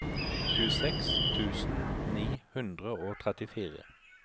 tjueseks tusen ni hundre og trettifire